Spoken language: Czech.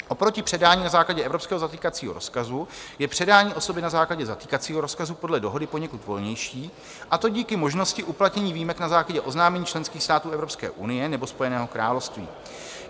Oproti předání na základě evropského zatýkacího rozkazuje je předání osoby na základě zatýkacího rozkazu podle Dohody poněkud volnější, a to díky možnosti uplatnění výjimek na základě oznámení členských států Evropské unie nebo Spojeného království.